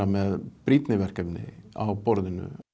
með brýnni verkefni á borðinu